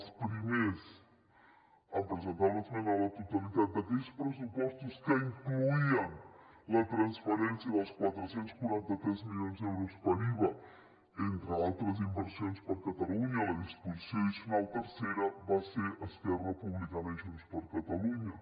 els primers en presentar una esmena a la totalitat d’aquells pressupostos que incloïen la transferència dels quatre cents i quaranta tres milions d’euros per iva entre altres inversions per a catalunya la disposició addicional tercera van ser esquerra republicana i junts per catalunya